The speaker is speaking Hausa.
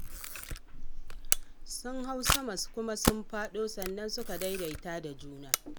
Sun hau sama kuma sun faɗo sannan suka daidata da juna